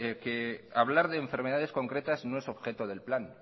hablar de enfermedades concretas no es objeto del plan